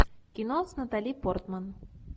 кино с натали портман